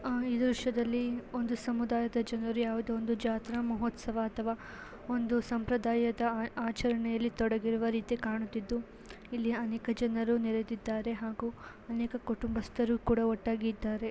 ಆ ಈ ದೃಶ್ಯದಲ್ಲಿ ಒಂದು ಸಮುದಾಯದ ಜನರು ಯಾವುದೋ ಒಂದು ಜಾತ್ರ ಮಹೋತ್ಸವ ಅಥವಾ ಒಂದು ಸಂಪ್ರದಾಯದ ಆಚರಣೆಯಲ್ಲಿ ತೊಡಗಿರುವ ರೀತಿ ಕಾಣುತ್ತಿದ್ದು ಇಲ್ಲಿ ಅನೇಕ ಜನರು ನೆರೆದಿದ್ದಾರೆ. ಹಾಗೂ ಅನೇಕ ಕುಟುಂಬಸ್ಥರು ಕೂಡ ಒಟ್ಟಾಗಿ ಇದ್ದಾರೆ.